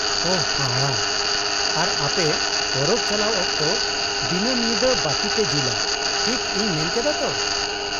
-ᱳᱦᱚ, ᱦᱟᱦᱟᱲᱟᱜ ᱾ ᱟᱨ ᱟᱯᱮ ᱯᱚᱨᱚᱵ ᱪᱟᱞᱟᱣ ᱚᱠᱛᱚ ᱫᱚᱱᱟᱹᱢ ᱧᱤᱫᱟᱹ ᱵᱟᱹᱛᱤᱯᱮ ᱡᱩᱞᱟ, ᱴᱷᱤᱠ ᱤᱧ ᱢᱮᱱ ᱠᱮᱫᱟ ᱛᱚ ?